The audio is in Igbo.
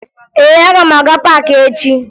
Ee, aga m aga paakị echi